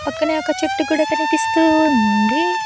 పక్కనే ఒక చెట్టు కూడా కనిపిస్తూ ఉంది.